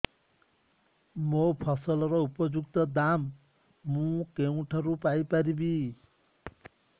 ମୋ ଫସଲର ଉପଯୁକ୍ତ ଦାମ୍ ମୁଁ କେଉଁଠାରୁ ପାଇ ପାରିବି